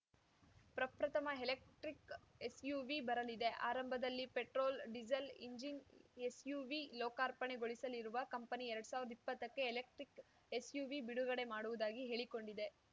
ಪ್ರಪ್ರಥಮ electric SUV ಬರಲಿದೆ ಆರಂಭದಲ್ಲಿ ಪೆಟ್ರೋಲ್‌ ಡೀಸೆಲ್‌ ಇಂಜಿನ್‌ ಎಸ್‌ಯುವಿ ಲೋಕಾರ್ಪಣೆಗೊಳಿಸಲಿರುವ ಕಂಪನಿ ಎರಡ್ ಸಾವಿರ್ದಾ ಇಪ್ಪತ್ತಕ್ಕೆ ಎಲೆಕ್ಟ್ರಿಕ್‌ ಎಸ್‌ಯುವಿ ಬಿಡುಗಡೆ ಮಾಡುವುದಾಗಿ ಹೇಳಿಕೊಂಡಿದೆ